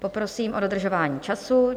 Poprosím o dodržování času.